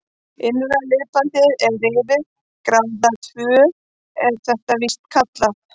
Innra liðbandið er rifið, gráða tvö er þetta víst kallað.